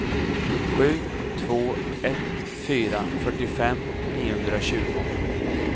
sju två ett fyra fyrtiofem niohundratjugo